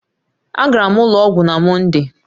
Agara m ụlọ ọgwụ na Mọnde